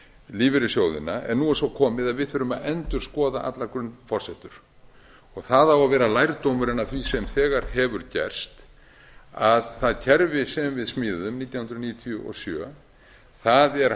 lífeyrissjóðina en nú er svo komið að við þurfum að endurskoða allar grunnforsendur það á að vera lærdómurinn af því sem þegar hefur gerst að það kerfi sem við smíðuðum nítján hundruð níutíu og sjö er